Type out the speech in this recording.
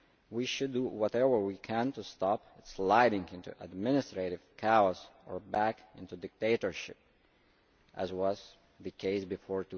We should do whatever we can to stop it sliding into administrative chaos or back into dictatorship, as was the case before